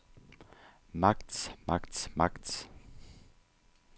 magts magts magts